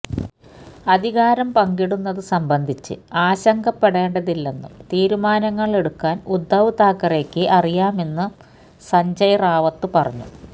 അധികാരം പങ്കിടുന്നതു സംബന്ധിച്ച് ആശങ്കപ്പെടേണ്ടതില്ലെന്നും തീരുമാനങ്ങള് എടുക്കാന് ഉദ്ദവ് താക്കറെയ്ക്ക് അറിയാമെന്നും സഞ്ജയ് റാവത്ത് പറഞ്ഞു